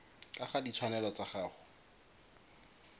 ka ga ditshwanelo tsa gago